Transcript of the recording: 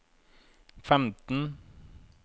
femten